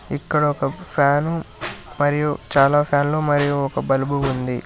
ఇక్కడ ఒక ఫ్యాను మరియు చాలా ఫ్యాన్లు మరియు ఒక బల్బు ఉంది